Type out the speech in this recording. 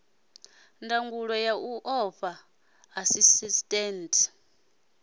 ndangulo ya u fha ḽaisentsi